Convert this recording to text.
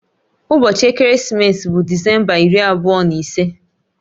Ụbọchị ekeresimesi bụ Disemba iri abụọ na ise